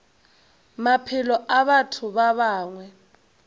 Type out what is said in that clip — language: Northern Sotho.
maphelo a batho ba bangwe